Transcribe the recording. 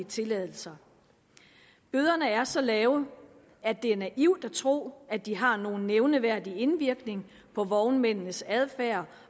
tilladelser bøderne er så lave at det er naivt at tro at de har nogen nævneværdig indvirkning på vognmændenes adfærd